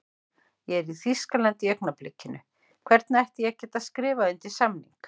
Ég er í Þýskalandi í augnablikinu, hvernig ætti ég að geta skrifað undir samning?